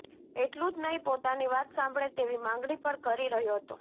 એટલું જ નહીં પોતાની વાત સાંભળે તેવી માંગણી પણ કરી રહ્યો હતો